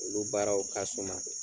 Olu baaraw ka suma